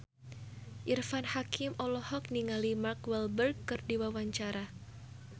Irfan Hakim olohok ningali Mark Walberg keur diwawancara